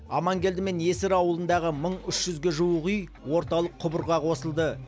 аманкелді мен есір ауылындағы мың үш жүзге жуық үй орталық құбырға қосылды